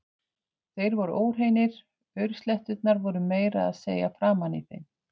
Þeir voru óhreinir, aursletturnar voru meira að segja framan í þeim.